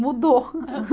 Mudou.